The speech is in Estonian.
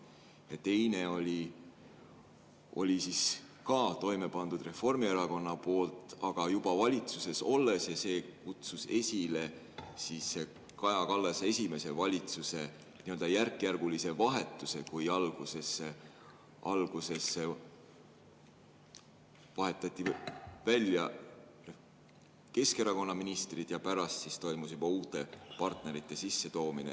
Ja teise pani ka toime Reformierakond, aga juba valitsuses olles, ja see kutsus esile Kaja Kallase esimese valitsuse nii-öelda järkjärgulise vahetuse, kui alguses vahetati välja Keskerakonna ministrid ja pärast toimus juba uute partnerite sissetoomine.